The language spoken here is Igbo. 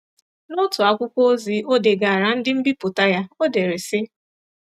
N’otu akwụkwọ ozi o degaara ndị nbipụta ya, o dere sị.